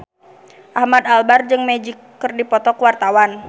Ahmad Albar jeung Magic keur dipoto ku wartawan